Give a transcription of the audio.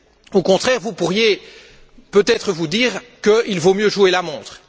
Au contraire, vous pourriez peut être vous dire qu'il vaut mieux jouer la montre.